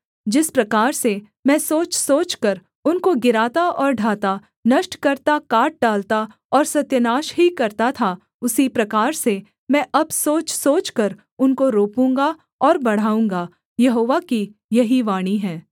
जिस प्रकार से मैं सोचसोचकर उनको गिराता और ढाता नष्ट करता काट डालता और सत्यानाश ही करता था उसी प्रकार से मैं अब सोचसोचकर उनको रोपूँगा और बढ़ाऊँगा यहोवा की यही वाणी है